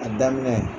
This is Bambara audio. A daminɛ